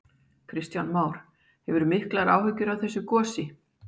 Kristján Már: Hefurðu miklar áhyggjur af þessu gosi?